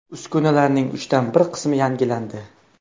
Uskunalarning uchdan bir qismi yangilandi.